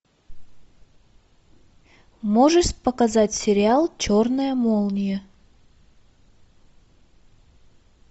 можешь показать сериал черная молния